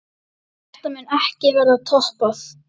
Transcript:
Þetta mun ekki verða toppað.